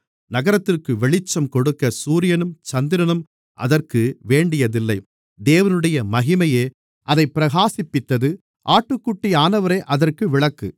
நகரத்திற்கு வெளிச்சம் கொடுக்கச் சூரியனும் சந்திரனும் அதற்கு வேண்டியதில்லை தேவனுடைய மகிமையே அதைப் பிரகாசிப்பித்தது ஆட்டுக்குட்டியானவரே அதற்கு விளக்கு